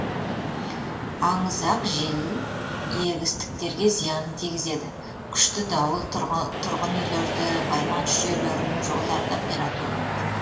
аңызақ жел егістіктерге зиянын тигізеді күшті дауылдар тұрғын үйлерді байланыс жүйелерін жолдарды қиратуы мүмкін